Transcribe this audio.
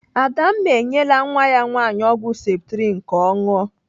Adamma enyela nwa ya nwaanyị ọgwụ septrin ka ọ ṅụọ.